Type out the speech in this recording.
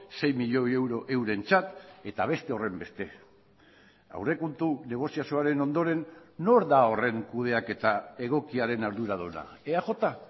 sei milioi euro eurentzat eta beste horrenbeste aurrekontu negoziazioaren ondoren nor da horren kudeaketa egokiaren arduraduna eaj